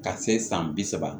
Ka se san bi saba